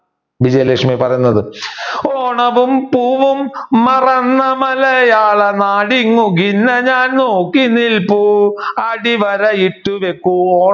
വിജയലക്ഷ്മി പറയുന്നത് ഓണവും പൂവും മറന്ന മലയാളനാടിങ്ങു ഖിന്ന ഞാൻ നോക്കി നിൽപ്പൂ അടിവരയിട്ട് വെക്കൂ